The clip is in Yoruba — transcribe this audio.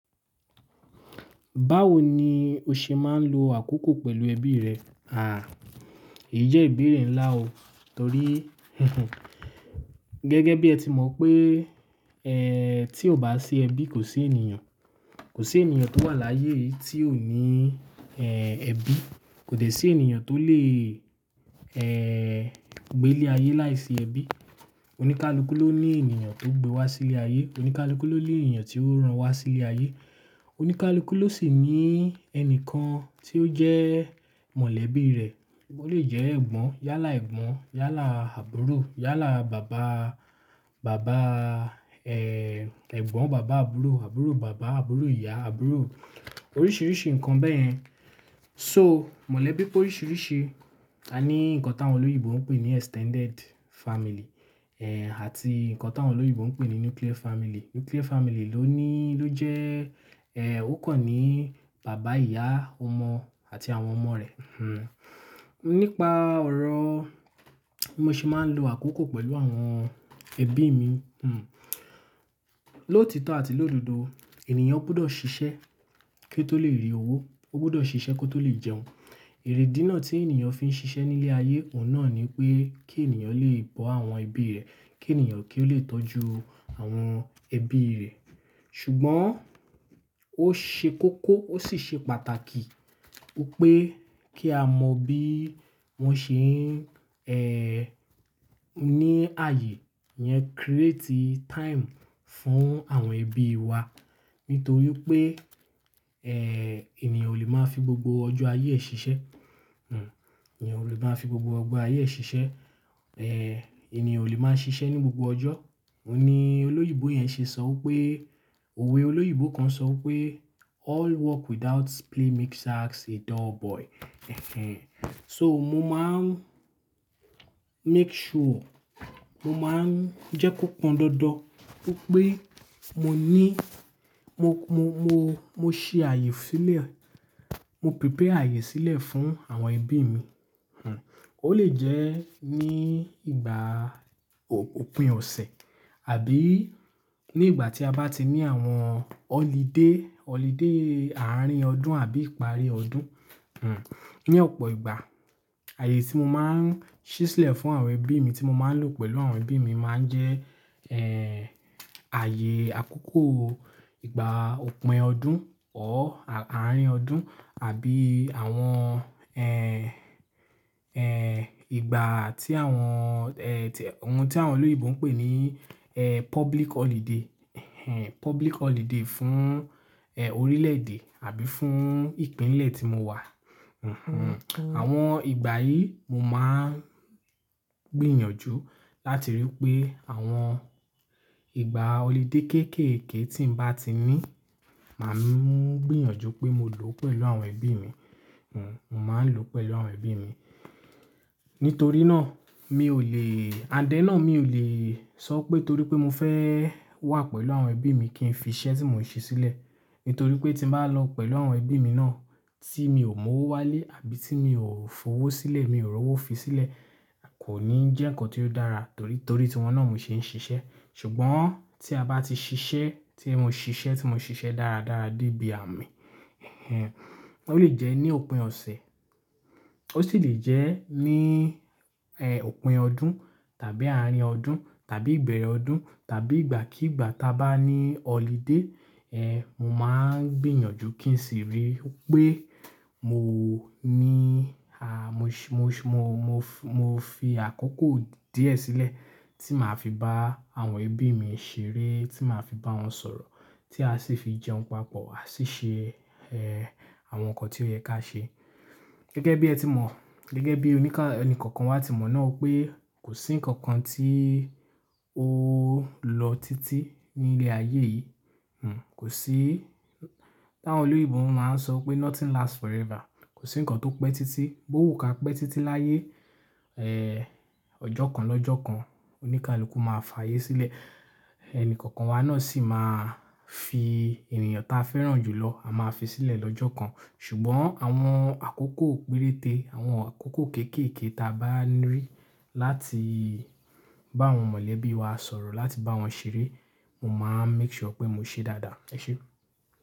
Báwo ni o ṣe máa ń lo àkókò pẹ̀lú ẹbí rẹ? À, èyí jẹ́ ìbéèrè ńlá o torí gẹ́gẹ́ bí ẹ ti mọ pé, ẹ́, tí ó bá sí ẹbí kò sí ènìyàn, kò sí ènìyàn tó wà láyé yìí tí ò ní, ẹ́, ẹbí. Kò dẹ́ sí ènìyàn tó lè, ẹ́, gbé ní ilé ayé láìsí ẹbí. Oníkálukú ló ní ènìyàn tó gbé wá sí ilé ayé. Oníkálukú ló ní ènìyàn tí ó ran wá sí ilé ayé. Oníkálukú ló sì ní ẹni kan tí ó jẹ́ mọ̀lẹ́bí rẹ̀. Ó lè jẹ́ ẹ̀gbọ́n, yálà ẹ̀gbọ́n, yálà àbúrò, yálà bàba, bàba, ẹ́, ẹ̀gbọ́n bàbá àbúrò, àbúrò bàbá, àbúrò ìyá, àbúrò oríṣiríṣi nǹkan bẹ́ẹ̀ yẹn. So mọ̀lẹ́bí pé oríṣiríṣi, a ní nǹkan táwọn olóyìibo ń pè ní extended family, ẹ́, àti nǹkan táwọn olóyìibo ń pè ní nuclear family. Nuclear family ló ní, ló jẹ́, ẹ́, ó kàn ní bàbá, ìyá, ọmọ àti àwọn ọmọ rẹ̀, nípa ọ̀rọ̀ mo ṣe máa ń lo àkókò pẹ̀lú àwọn ẹbí mi, lóòtítọ́ àti lóòdodo, ènìyàn gbọ́dọ̀ ṣiṣẹ́ kí ó tó lè rí owó. Ó gbọ́dọ̀ ṣiṣẹ́ kí ó tó lè jẹun. Èrè dínà tí ènìyàn fi ń ṣiṣẹ́ nílé ayé, òun náà ni pé kí ènìyàn lè bọ àwọn ẹbí rẹ̀, kí ènìyàn kí ó lè tọ́jú àwọn ẹbí rẹ̀. Ṣùgbọ́n ó ṣe kókó, ó sì ṣe pàtàkì wípé kí a mọ bí wọ́n ṣe ń, ẹ́, ní ààyè yẹn create time fún àwọn ẹbí wa. Nítorí pé, ẹ́, ènìyàn ò lè máa fi gbogbo ọjọ́ ayé ẹ ṣiṣẹ́, ẹ̀níyàn ò lè máa fi gbogbo ọgbọ́n ayé ẹ ṣiṣẹ́, ẹ́, ènìyàn ò lè máa ṣiṣẹ́ ní gbogbo ọjọ́. Ó ní olóyìibo yẹn ṣe sọ pé, òwe olóyìibo kan sọ pé "All work without play makes Jack a dull boy." So mo máa ń make sure, mo máa ń jẹ́ kó pọn dọ́ọ́dọ́ wípé mo ní, mo, mo, mo, mo ṣe ààyè sílẹ̀, mo prepare ààyè sílẹ̀ fún àwọn ẹbí mi. Ó lè jẹ́ ní ìgbà òpin ọ̀sẹ̀ àbí ní ìgbà tí a bá ti ní àwọn holiday, holiday àárín ọdún àbí ìparí ọdún. Ni ọ̀pọ̀ ìgbà, ààyè tí mo máa ń ṣí sílẹ̀ fún àwọn ẹbí mi tí mo máa ń lò pẹ̀lú àwọn ẹbí mi máa ń jẹ́, ẹ́, ààyè àkókò ìgbà òpin ọdún ọ́ àárín ọdún àbí àwọn, ẹ́, ẹ́, ìgbà tí àwọn, ẹ́, ohun tí àwọn olóyìibo ń pè ní, ẹ́, public holiday, public holiday fún, ẹ́, orílẹ̀-èdè àbí fún ìpínlẹ̀ tí mo wà, àwọn ìgbà yìí mo máa ń gbìyànjú láti ríi pé àwọn ìgbà holiday kéékèèké tí n bá ti ní, màá mú gbìyànjú pé mo lò ó pẹ̀lú àwọn ẹbí mi, hm. Mo máa ń lò ó pẹ̀lú àwọn ẹbí mi. Nítorí náà mi ò lè, and then náà mi ò lè sọ pé torí pé mo fẹ́ wà pẹ̀lú àwọn ẹbí mi kí n fi iṣẹ́ tí mò ń ṣe sílẹ̀. Nítorí pé tí n bá lọ pẹ̀lú àwọn ẹbí mi náà tí mi ò mọ owó wálé àbí tí mi ò fowó sílẹ̀, mi ò rọ́wó fi sílẹ̀, kò ní jẹ́ nǹkan tí ó dára torí torí tíwọ́n náà mo ṣe ń ṣiṣẹ́. Ṣùgbọ́n tí a bá ti ṣiṣẹ́, tí mo ṣiṣẹ́, tí mo ṣiṣẹ́ dára dára dé bí àmì, ó lè jẹ́ ní òpin ọ̀sẹ̀, ó sì lè jẹ́ ní, ẹ́, òpin ọdún tàbí àárín ọdún tàbí ìgbẹ̀rẹ ọdún tàbí ìgbàkígbà táa bá ní holiday, ẹ́, mo máa ń gbìyànjú kí n sì ríi pé mo ní, à, mo ṣe, mo ṣe, mo, mo fi àkókò díẹ̀ sílẹ̀ tí màá fi bá àwọn ẹbí mi ṣeré, tí màá fi bá wọn sọ̀rọ̀ tí a sì fi jẹun papọ̀, a sì ṣe, ẹ́, àwọn nǹkan tí ó yẹ ká ṣe. Gẹ́gẹ́ bí ẹ ti mọ̀, gẹ́gẹ́ bí oníkà- ẹni kankan wa ti mọ̀ náà pé kò sí nǹkan kan tí ó lọ títí ní ilé ayé yìí, hm. Kò sí, táwọn olóyìibo máa ń sọ pé "Nothing lasts forever." Kò sí nǹkan tó pẹ́ títí. Bó wu ka pẹ́ títí láyé, ẹ́, ọjọ́ kan lọ́jọ́ kan oníkálukú máa fààyè sílẹ̀. Ẹni kankan wa náà sì máa fi ènìyàn táa fẹ́ràn jù lọ, a máa fi sílẹ̀ lọ́jọ́ kan. Ṣùgbọ́n àwọn àkókò péréte, àwọn àkókò kéékèèké táa bá ní rí láti bá àwọn mọ̀lẹ́bí wa sọ̀rọ̀, láti bá wọn ṣeré, mo máa ń make sure pé mo ṣe é dáadáa. Ẹ ṣé.